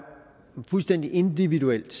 fuldstændig individuelt